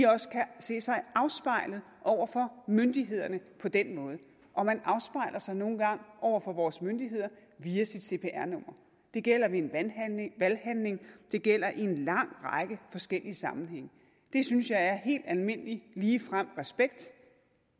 også kan se sig afspejlet over for myndighederne på den måde og man afspejler sig nu engang over for vores myndigheder via sit cpr nummer det gælder ved en valghandling det gælder i en lang række forskellige sammenhænge det synes jeg er helt almindelig ligefrem respekt